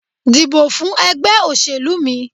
Dìbò fún ègbé òṣèlú mi